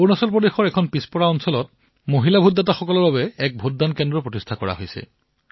অৰুণাচল প্ৰদেশৰ এক দুৰ্গম এলেকাত কেৱল এগৰাকী মহিলা ভোটদাতাৰ বাবে নিৰ্বাচনী কেন্দ্ৰ স্থাপন কৰা হৈছিল